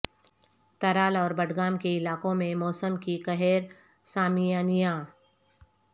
ترال اور بڈگام کے علاقوں میں موسم کی قہر سامیانیاں